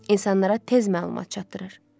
İnsanlara tez məlumat çatdırır.